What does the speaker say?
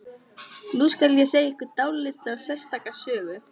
Nú skal segja ykkur dálítið sérstaka sögu.